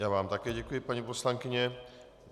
Já vám také děkuji, paní poslankyně.